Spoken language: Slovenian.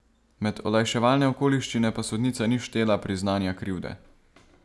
Med olajševalne okoliščine pa sodnica ni štela priznanja krivde.